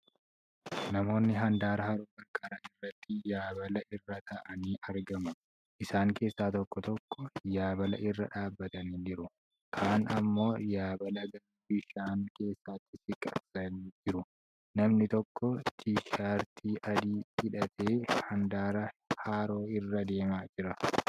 Namoonii handaara haroo qarqara irratti yaabala irra tataa'anii aragmu. Isaan keessaa tokko tokko yaabala irra dhaabbatanii jiru. Kaan immoo yaabala gara bishaan keessatti siqsaa jiru. Namni tokko tishartii adii hidhatee handaara haroo irra deemaa jira.